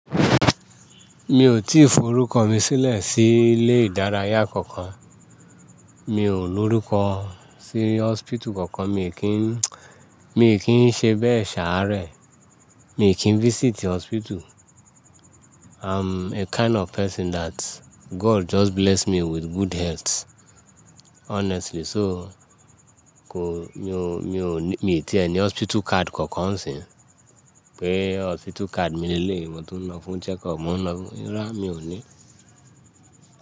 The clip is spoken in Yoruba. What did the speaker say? Mi ò tíì forúkọ mi sílẹ̀ sí ilé ìdárayá kankan. Mi ò lórúkọ sí hospital kankan, mi kì í, mi kì í ṣe bẹ́ẹ̀ ṣàárè, mi kì í visit hospital. I'm a kind of person that God just bless me with good health honestly. So kò, mi ò, mi ò ní, mi ò tí ènì hospital card kankan sì. Pé hospital card mi lé lé, mo tún ń lọ fún check up mo ń lọ fún, iro mi ò ní.